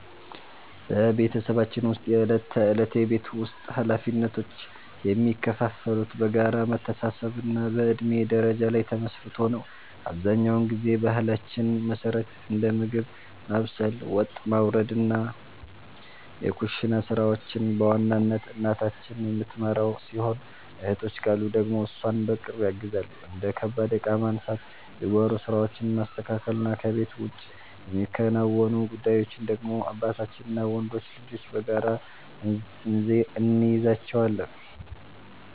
በቤተሰባችን ውስጥ የዕለት ተዕለት የቤት ውስጥ ኃላፊነቶች የሚከፋፈሉት በጋራ መተሳሰብና በእድሜ ደረጃ ላይ ተመስርቶ ነው። አብዛኛውን ጊዜ በባህላችን መሠረት እንደ ምግብ ማብሰል፣ ወጥ ማውረድና የኩሽና ሥራዎችን በዋናነት እናታችን የምትመራው ሲሆን፣ እህቶች ካሉ ደግሞ እሷን በቅርብ ያግዛሉ። እንደ ከባድ ዕቃ ማንሳት፣ የጓሮ ሥራዎችን ማስተካከልና ከቤት ውጭ የሚከናወኑ ጉዳዮችን ደግሞ አባታችንና ወንዶች ልጆች በጋራ እንይዛቸዋለን።